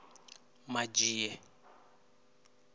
madzhie